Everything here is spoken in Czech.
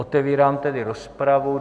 Otevírám tedy rozpravu.